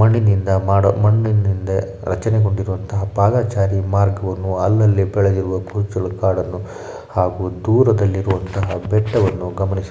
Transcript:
ಮಣ್ಣಿನಿಂದ ಮಾಡಲು ಮಣ್ಣಿನಿಂದ ರಚನೆಗೊಂಡಿರುವಂತಹ ಪಾದಚಾರಿ ಮಾರ್ಗವನ್ನು ಅಲ್ಲಲ್ಲಿ ಬೆಳೆದಿರುವ ಕುರುಚಲು ಕಾಡನ್ನು ಹಾಗೂ ದೂರದಲ್ಲಿರುವಂತಹ ಬೆಟ್ಟವನ್ನು ಗಮನಿಸ --